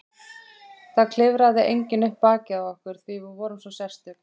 Það klifraði enginn upp bakið á okkur því við vorum svo sérstök.